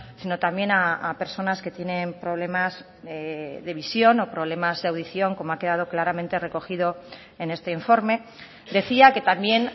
sino también a personas que tienen problemas de visión o problemas de audición como ha quedado claramente recogido en este informe decía que también